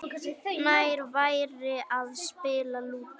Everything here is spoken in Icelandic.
Nær væri að spila Lúdó.